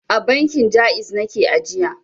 A bankin Ja'iz nake ajiya.